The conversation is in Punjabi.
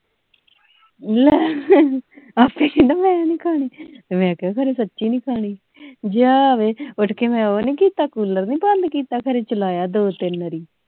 ਲੈ ਆਪੇ ਕਹਿੰਦਾ ਮੈਂ ਨਹੀਂ ਖਾਣੀ ਮੈਂ ਕਿਹਾ ਸੱਚੀ ਨਹੀਂ ਖਾਣੀ ਜਾ ਵੇ ਮੈਂ ਉੱਠ ਕੇ ਮੈਂ ਉਹ ਨਹੀਂ ਕੀਤਾ ਕੂਲਰ ਨਹੀਂ ਬੰਦ ਕੀਤਾ ਜਲਾਇਆ ਨਹੀਂ ਦੋ ਤਿੰਨ ਵਾਰੀ